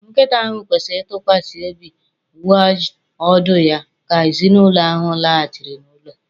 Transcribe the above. Nkịta ahụ kwesịrị ntụkwasị obi wagged ọdụ ya ka ezinụlọ ahụ laghachiri n'ụlọ.